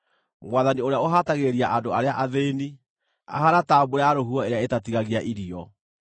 Mwathani ũrĩa ũhatagĩrĩria andũ arĩa athĩĩni ahaana ta mbura ya rũhuho ĩrĩa ĩtatigagia irio.